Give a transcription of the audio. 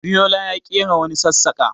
Abiyola ya ƙera wani sassaƙa.